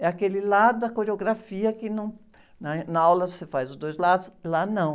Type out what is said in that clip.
É aquele lado da coreografia que num, na, na aula você faz os dois lados, lá não.